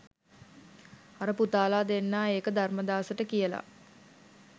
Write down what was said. අර පුතාලා දෙන්නා ඒක ධර්මදාසට කියලා